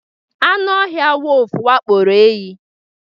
anụ ọhịa wolf wakporo ehi